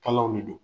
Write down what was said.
Kalaw de don